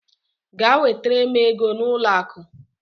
Gaa wetara m ego n'ụlọ akụ!